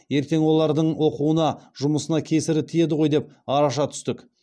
ертең олардың оқуына жұмысына кесірі тиеді ғой деп араша түстік